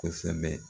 Kosɛbɛ